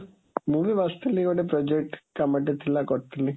ମୁଁ ବି ବସିଥିଲି, ଗୋଟେ project କାମଟେ ଥିଲା କରୁଥୁଲି